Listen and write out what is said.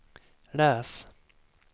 läs